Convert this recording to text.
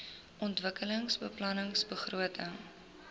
ontwikkelingsbeplanningbegrotings